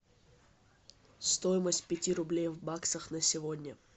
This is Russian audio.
стоимость пяти рублей в баксах на сегодня